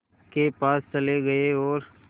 के पास चले गए और